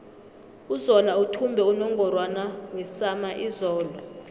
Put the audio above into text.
uzola uthumbe unungorwana wesama izolo